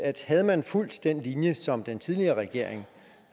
at havde man fulgt den linje som den tidligere regering